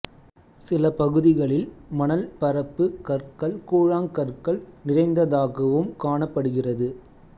சில பகுதிகளில் மணல் பரப்பு கற்கள் கூழாங்கற்கள் நிறைந்ததாகவும் காணப்படுகிறது